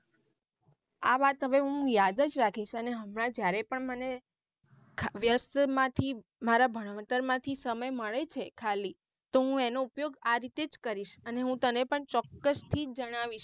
આ વાત આવે હું યાદ જ રાખીશ અને હમણાં જયારે પણ મને વ્યસ્ત માંથી માંરા ભણતર માંથી સમય મળે છે ખાલી તો હું એનો ઉપયોગ આ રીતેજ કરીશ અને હું તને પણ ચોક્કસ થી જણાવીશ.